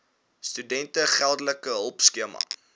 studente geldelike hulpskema